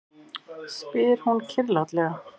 spyr hún kyrrlátlega.